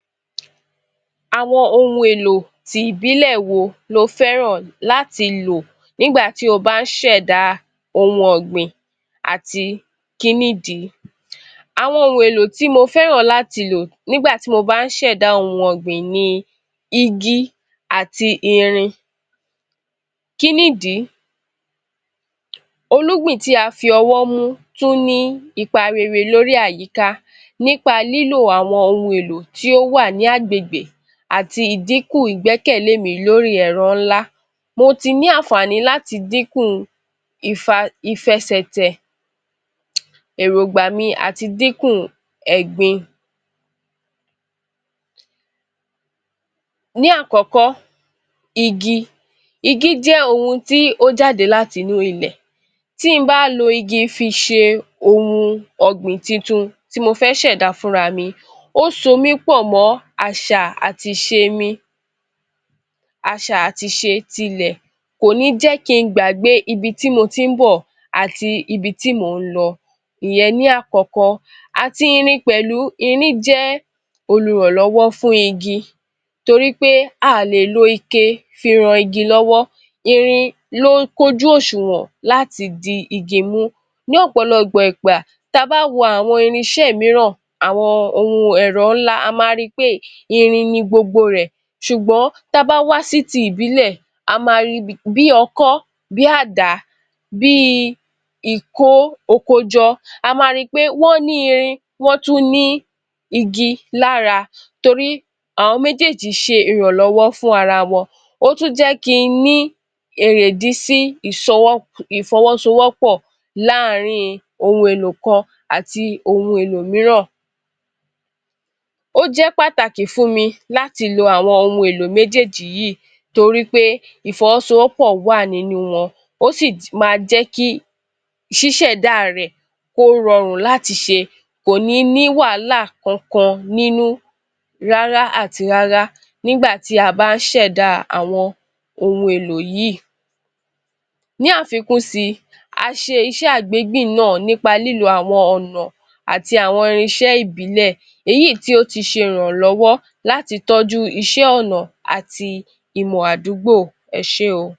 Àwọn ohun èlò ti ìbílẹ̀ wo ló fẹ́ràn láti lò nígbà tí ó bá ń ṣẹ̀dá ohun ọgbìn àti, kí nìdí? Àwọn ohun èlò tí mo fẹ́ràn láti lò nígbà tí mo bá ń ṣẹ̀dá ohun ọgbìn ni: Igi àti Irin, kí nìdí? Olúgbìn tí a fi ọwọ́ mú tún ní ipa rere lórí àyíká nípa lílo àwọn ohun èlò tí ó wà ní agbègbè àti ìdínkù ìgbẹ́kẹ̀lé mi lórí ẹ̀rọ ńlá, mo tí ní àǹfààní láti dínkù ìfẹsẹ̀tẹ̀, eròngbà mi àti dínkù ẹ̀gbin. Ní àkọ́kọ́, igi: Igi jẹ́ ohun tí ó jáde láti inú ilẹ̀, tí mi bá ń lò igi fi ṣe ohun ọgbìn tuntun tí mo fẹ́ ṣẹ̀dá fún ara mi, Ó so mí pọ̀ mọ́ àṣà àti ìṣe mi. À̀ṣà àti ìṣe tilẹ̀ kò ní jẹ ki ń gbàgbé ibi tí mó tí ń bọ̀ àti ibi tí mò ń lọ, ìyẹn ní àkọ́kọ́ àti Irin pẹ̀lú. Irin jẹ́ olùrànlọ́wọ́ fún igi nítorí pé à ó lè lo ike fí ràn igi lọ́wọ́, irin ló kú ojú òṣùwọ̀n láti di igi mú. Ní ọ̀pọ̀lọpọ̀ ìgbà, tí a bá a wo àwọn irínṣẹ́ mìíràn àwọn ohun ẹ̀rọ ńlá, a máa rí pé irin ní gbogbo rẹ, ṣùgbọ́n tí a bá wá sí tí ìbílẹ̀, a máa rí bí Ọkọ́, bí Àdá, bí Ìko okójọ, á máa rí pé wọn ní irin, wọn tún ní igi lára nítorí àwọn méjèèjì ṣe ìrànlọ́wọ́ fún ara wọn, ó tún jẹ́ kí ni erèdì sí ifọwọ́sọwọ́pọ̀ láàárín ohun èlò kan àti ohun èlò mìíràn. Ó jẹ́ pàtàkì fún mi láti lo àwọn ohun èlò méjèèjì yìí, nítorí pé ifọwọ́sọwọ́pọ̀ wá nínú wọn, ó sì máa jẹ ki ṣísẹ̀da rẹ kó rọrùn láti ṣe, kò ní ní wàhálà kankan nínú rárá àti rárá nígbà tí a bá ń ṣẹ̀dá àwọn ohun èlò yìí. Ní àfikún sí, a ṣe Iṣẹ́ àgbégbìn náà nípa lílo àwọn ọ̀nà àti àwọn irínṣẹ́ ìbílẹ̀, èyí tí ó ti ṣe ìrànlọ́wọ́ láti tọ́jú iṣẹ́ ọ̀nà àti ìmọ̀ àdúgbò, Ẹ ṣe óò.